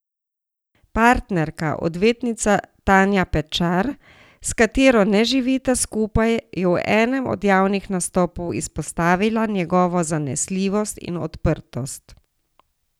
Partnerka, odvetnica Tanja Pečar, s katero ne živita skupaj, je v enem od javnih nastopov izpostavila njegovo zanesljivost in odprtost.